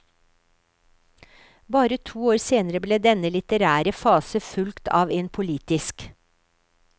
Bare to år senere ble denne litterære fase fulgt av en politisk.